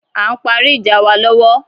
A ń parí ìjà wa lọ́wọ́